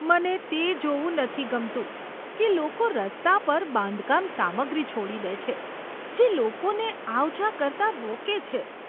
મને તે જોવું નથી ગમતું કે લોકો રસ્તા પર બાંધકામ સામગ્રી છોડી દે છે, જે લોકોને આવ જા કરતાં રોકે છે.